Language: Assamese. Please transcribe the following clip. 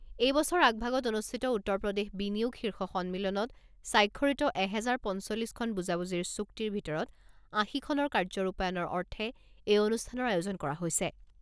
এই বছৰ আগভাগত অনুষ্ঠিত উত্তৰ প্ৰদেশ বিনিয়োগ শীৰ্ষ সন্মিলনত স্বাক্ষৰিত এহেজাৰ পঞ্চল্লিছখন বুজাবুজিৰ চুক্তিৰ ভিতৰত আশীখনৰ কাৰ্য ৰূপায়ণৰ অৰ্থে এই অনুষ্ঠানৰ আয়োজন কৰা হৈছে।